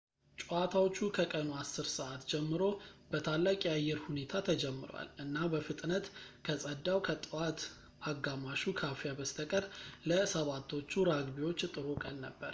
ጨዋታዎቹ ከቀኑ 10:00 ሰዓት ጀምሮ በታላቅ የአየር ሁኔታ ተጀምረዋል እና በፍጥነት ከጸዳው ከጠዋት አጋማሹ ካፊያ በስተቀር ለ 7ቶቹ ራግቢዎች ጥሩ ቀን ነበር